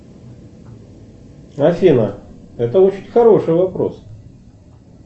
афина это очень хороший вопрос